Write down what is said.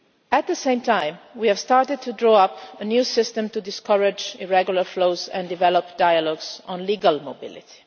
At the same time, we have started to draw up a new system to discourage irregular flows and develop dialogues on legal mobility.